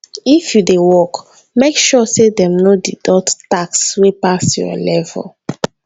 if you dey work make sure say dem no deduct tax wey pass your level.